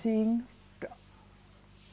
Sim.